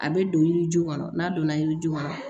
A bɛ don yiri ju kɔnɔ n'a donna yiriju kɔnɔ